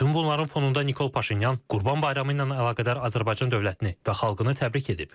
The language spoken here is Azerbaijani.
Bütün bunların fonunda Nikol Paşinyan Qurban bayramı ilə əlaqədar Azərbaycan dövlətini və xalqını təbrik edib.